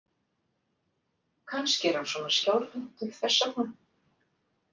Kannski er hann svona skjálfhentur þess vegna.